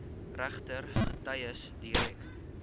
regter getuies direk